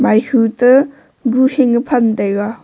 maihu te gu hing e phan taiga.